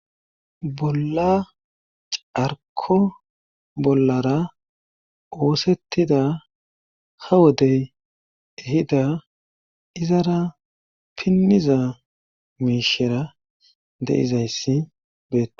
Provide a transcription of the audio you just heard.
Bolla carko bollara oosettida ha wodey ehida izara pinniza miishera deizayssi bee.